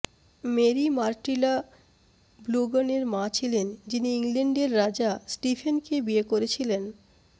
Mary Matilda বোুলগ্নের মা ছিলেন যিনি ইংল্যান্ডের রাজা স্টিফেনকে বিয়ে করেছিলেন